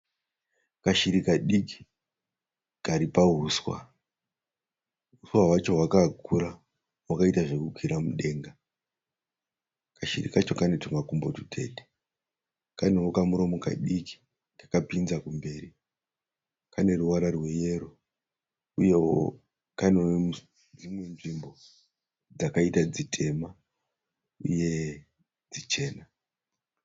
Kashiri kadiki kari pahuswa. Huswa hwacho hwakakura hwakaita zvekukwira mudenga. Kashiri kacho kane tumakumbo tutete. Kanewo kamuromo kadiki kakapinza kumberi. Kane ruvara rweyero uyewo kane dzimwe nzvimbo dzakaita dzitema uye dzichena.